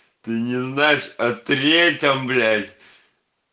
ты не знаешь а третьем блять